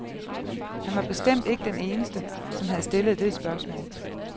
Han var bestemt ikke den eneste, som havde stillet det spørgsmål.